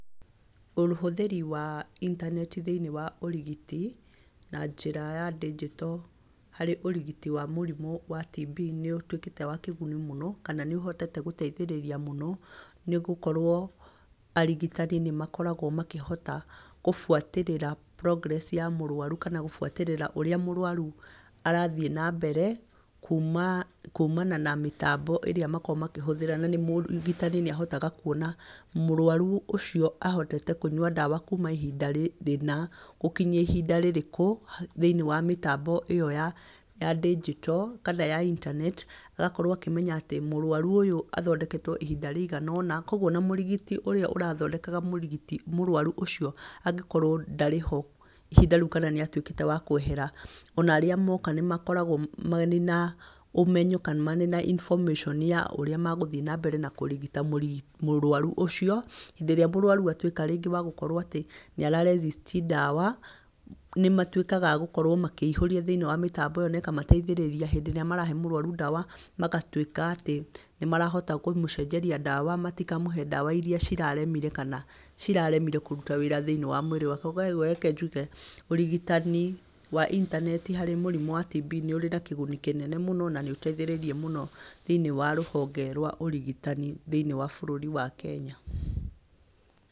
Ũhũthĩri wa intaneti thĩinĩ wa ũrigiti, na njĩra ya ndinjito harĩ ũrigiti wa mũrimũ wa TB nĩũtuĩkĩte wa kĩguni mũno, kana nĩũhotete gũteithĩrĩria mũno, nĩgũkorwo arigitani nĩmakoragwo makĩhota gũbuatĩrĩra progress ya mũrwaru kana gũbuatĩrĩra ũrĩa mũrwaru arathiĩ nambere, kumana na mĩtambo ĩrĩa makoragwo makĩhũthĩra na mũrigitani nĩahotaga kuonamũrwaru ũcio ahotete kũnyua ndawa kuma ihinda rĩna, gũkinyia ihinda rĩrĩkũ, thĩinĩ wa mĩtambo ĩyo ya ndinjito, kana ya internet. Agakorwo akĩmenya atĩ mũrwaru ũyũ athondeketwo ihinda rĩigana ũna, koguo ona mũrigiti ũrĩa ũrathondekaga mũrwaru ũcio angĩkorwo ndarĩho ihinda rĩu kana nĩ atuĩkĩte wa kwehera, ona arĩa moka nĩmakoragwo marĩ na ũmenyo kana marĩ na information ya ũrĩa megũthiĩ na mbere kũrigita mũrwaru ũcio. Hĩndĩ ĩrĩa mũrwaru atuĩka rĩngĩ nĩwagũkorwo atĩ nĩ ara resist ndawa, nĩmatuĩkaga agũkorwo makĩihũrio thĩinĩ wa mĩtambo ĩyo na ĩkamateithĩrĩria hĩndĩ ĩrĩa marahe mũrwaru ndawa, magatuĩka atĩ nĩmarahota kũmũcenjeria ndawa matikamũhe ndawa iria ciraremire kana ciraremire kũruta wĩra thĩinĩ wa mwĩrĩ wake. Koguo reke njuge ũrigitani wa intaneti harĩ mũrimũ wa TB nĩũrĩ na kĩguni kĩnene na nĩũteithĩrĩirie mũno thĩiniĩ wa rũhonge rwa ũrigitani thĩiniĩ wa bũrũri wa Kenya.